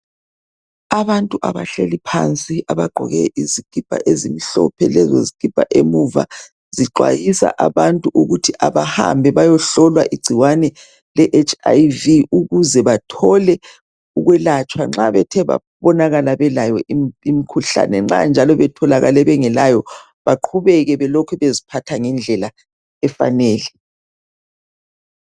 Abantu abahlezi phansi abagqoke izikipa ezimhlophe ezibhalwe emuva ukuba abahamba bayehlolwa igcikwane leHiv bayelatshwe nxa bethe batholakala belayo nxa njalo betholakale bengelayo beqhubeke beziphathe ngendlela efaneleyo .